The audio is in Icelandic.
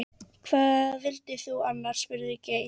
Hvað vildir þú annars? spurði Geir.